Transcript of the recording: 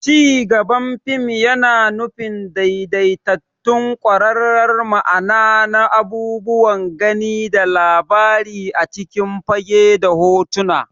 Cigaban fim yana nufin daidaitattun kwararar ma'ana na abubuwan gani da labari a cikin fage da hotuna.